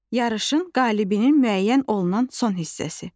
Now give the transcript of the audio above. Yarışın qalibinin müəyyən olunan son hissəsi.